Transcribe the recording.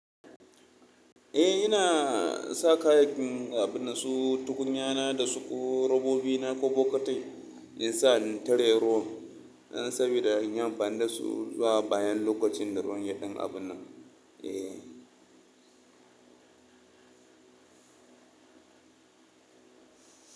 Eh, ina sa kayakin abu na so tukunya na da su, robobi na ko bokatai in sa in tare ruwan. Saboda in anfani da su zuwa bayan lokacin da ruwan ya ɗan abona. Eh.